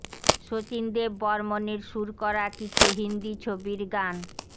শচীন দেব বর্মণের সুর করা কিছু হিন্দী ছবির গান